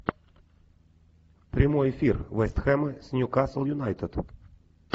прямой эфир вест хэма с ньюкасл юнайтед